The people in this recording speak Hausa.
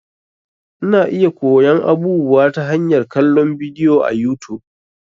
Ina iya koyon abubuwa ta hanyar kallon bidiyo a YouTube.